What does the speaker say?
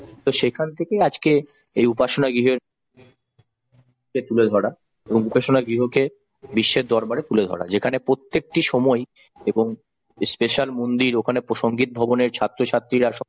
তো সেখান থেকেই আজকে এই উপাসনা গৃহের তুলে ধরা এবং উপাসনা গৃহকে বিশ্বের দরবারে তুলে ধরা যেখানে প্রত্যেকটি সময় এবং মন্দির ওখানে সংগীত ভবনের ছাত্র-ছাত্রীরা সবাই